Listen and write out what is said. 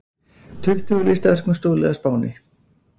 Tuttugu listaverkum stolið á Spáni